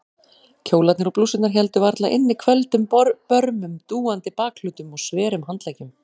Kjólarnir og blússurnar héldu varla inni hvelfdum börmum, dúandi bakhlutum og sverum handleggjum.